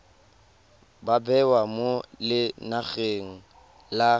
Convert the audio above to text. ba bewa mo lenaneng la